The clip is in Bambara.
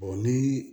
ni